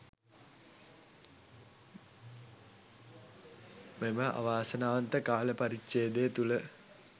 මෙම අවාසනාවන්ත කාල පරිච්ඡේදය තුළ